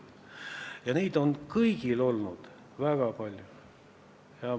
Ja neid on kõigil olnud väga palju.